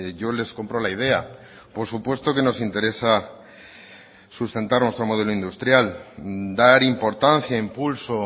yo les compro la idea por supuesto que nos interesa sustentar nuestro modelo industrial dar importancia impulso